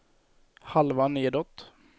halva nedåt